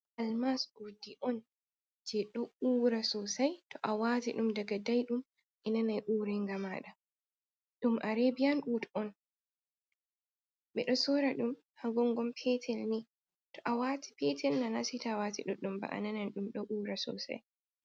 Almas urdi on je do ura sosai, to a wati dum daga daidum a nanai urenga mada, dum arebiyan urd on, be do sora dum hagongom petel ni to a wati petel na nasita wati duɗɗum ba ananan dum do ura sosai.